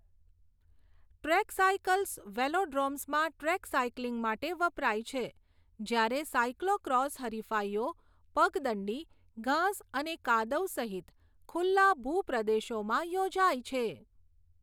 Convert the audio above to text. Track cycles વેલોડ્રોમ્સમાં track cycling માટે વપરાય છે, જ્યારે સાઇક્લો ક્રોસ હરિફાઇઓ પગદંડી, ઘાસ અને કાદવ સહિત ખુલ્લા ભૂપ્રદેશોમાં યોજાય છે.